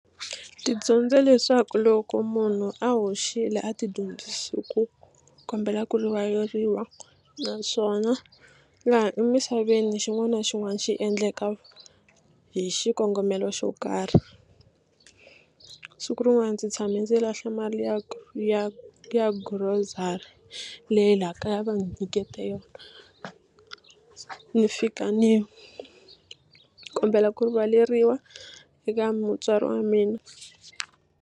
Ndzi dyondze leswaku loko munhu a hoxile a ti dyondzisi ku kombela ku rivaleriwa naswona laha emisaveni xin'wana na xin'wana xi endleka hi xikongomelo xo karhi siku rin'wana ndzi tshame ndzi lahla mali ya ya ya grocery leyi laha kaya a va ni nyikete yona ni fika ni kombela ku rivaleriwa eka mutswari wa mina.